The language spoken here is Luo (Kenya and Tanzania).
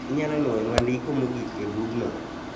Inyalo nwoyonwa ndiko mogik e bugno?